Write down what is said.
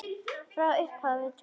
Frá upphafi til enda.